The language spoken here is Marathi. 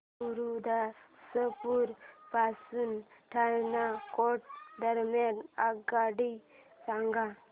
गुरुदासपुर पासून पठाणकोट दरम्यान आगगाडी सांगा